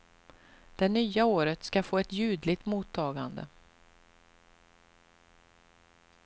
Det nya året skall få ett ljudligt mottagande.